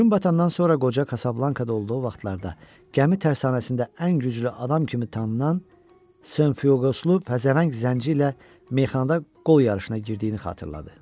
Gün batandan sonra qoca Kasablankada olduğu vaxtlarda gəmi tərsanəsində ən güclü adam kimi tanınan San Fioqoslu pəhləvan Zəngi ilə meyxanada qol yarışına girdiyini xatırladı.